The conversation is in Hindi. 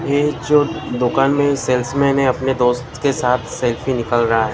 ये जो दुकान में सेल्समैन है अपने दोस्त के साथ सेल्फी निकाल रहा है ।